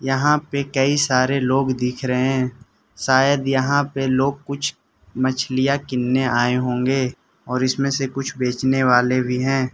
यहां पे कई सारे लोग दिख रहें शायद यहां पे लोग कुछ मछलियां किनने आए होंगे और इसमें से कुछ बेचने वाले भी हैं।